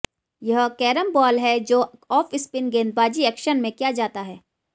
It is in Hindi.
यह कैरम बाल है जो ऑफ स्पिन गेंदबाजी एक्शन में किया जाता है